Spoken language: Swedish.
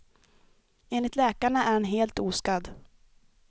Enligt läkarna är han helt oskadd.